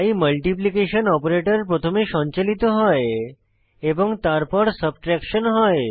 তাই multiplication operator প্রথমে সঞ্চালিত হয় এবং তারপর সাবট্রেকশন হয়